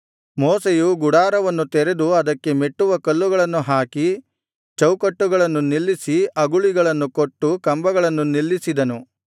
ಮೋಶೆಯು ಗುಡಾರವನ್ನು ತೆರೆದು ಅದಕ್ಕೆ ಮೆಟ್ಟುವಕಲ್ಲುಗಳನ್ನು ಹಾಕಿ ಚೌಕಟ್ಟುಗಳನ್ನು ನಿಲ್ಲಿಸಿ ಅಗುಳಿಗಳನ್ನು ಕೊಟ್ಟು ಕಂಬಗಳನ್ನು ನಿಲ್ಲಿಸಿದನು